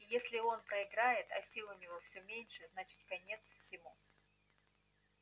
и если он проиграет а сил у него всё меньше значит конец всему